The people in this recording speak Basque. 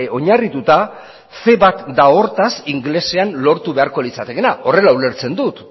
ce bat da hortaz ingelesean lortu beharko litzatekeena horrela ulertzen dut